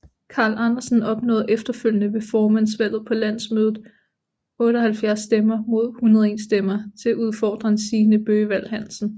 Carl Andersen opnåede efterfølgende ved formandsvalget på landsmødet 78 stemmer mod 101 stemmer til udfordreren Signe Bøgevald Hansen